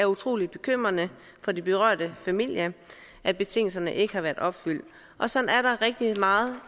utrolig bekymrende for de berørte familier at betingelserne ikke har været opfyldt og sådan er der rigtig meget